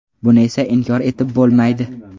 Buni esa inkor etib bo‘lmaydi.